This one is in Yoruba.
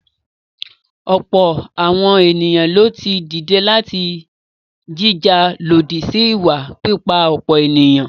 Ọ̀pọ̀ àwọn èèyàn lo ti dìde láti jìjà lòdì sí ìwà pípa-ọ̀pọ̀-ènìyàn.